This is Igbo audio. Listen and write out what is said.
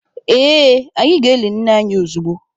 Ee, anyị ga-eli nne anyi ozugbo.